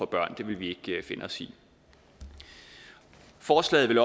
børn det vil vi ikke finde os i forslaget vil